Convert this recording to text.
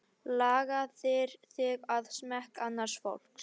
Lagaðir þig að smekk annars fólks.